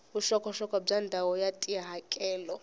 vuxokoxoko bya ndhawu ya tihakelo